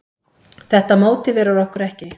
Þetta mótiverar okkur ekki.